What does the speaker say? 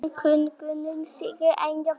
En könnunin sýnir einnig fleira.